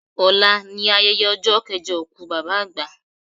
Ọlá ni ayẹyẹ ọjọ́ kẹjọ òkú Bàbá àgbà